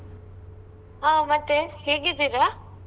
ಹಾ ಮತ್ತೆ ಹೇಗಿದ್ದೀರಾ?